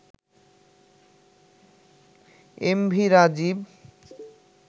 MV Rajib